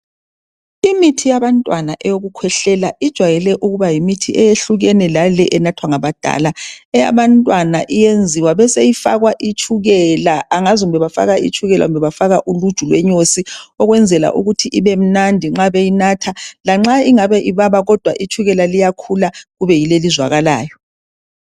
imithi yabantwana eyokukhwehlela ijwayele ukuba yimithi eyehlukene lale enathwa ngabadala eyabantwana eyenziwa beseyifakwa itshukela angazi kumbe bafaka itshukela kumbe bafaka uluju lwenyosi ukwenzela ukuthi ibe mnandi nxa beyinatha lanxa ingabe ibaba kodwa itshukela liyakhula libe ylo elizwakalayo